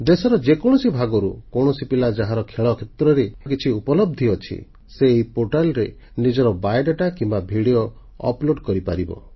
ଦେଶର ଯେକୌଣସି ଭାଗରୁ କୌଣସି ପିଲା ଯାହାର ଖେଳ କ୍ଷେତ୍ରରେ କିଛି ଉପଲବ୍ଧି ଅଛି ସେ ଏହି ପୋର୍ଟାଲରେ ନିଜର ବାୟୋଡାଟା କିମ୍ବା ଭିଡ଼ିଓ ଅପ୍ଲୋଡ କରିପାରିବ